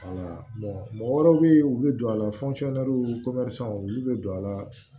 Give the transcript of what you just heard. mɔgɔ wɛrɛw bɛ ye olu bɛ don a la olu bɛ don a la